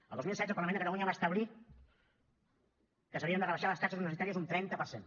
el dos mil setze el parlament de catalunya va establir que s’havien de rebaixar les taxes universitàries un trenta per cent